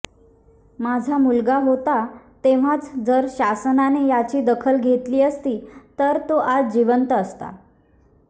माझा मुलगा होता तेव्हाच जर शासनाने याची दखल घेतली असती तर तो आज जिवंत असता